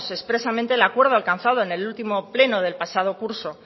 expresamente el acuerdo alcanzado en el último pleno del pasado curso